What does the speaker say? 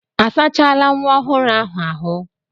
A sachala nwa ọhụrụ ahụ ahụ́?